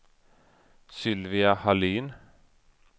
Sylvia Hallin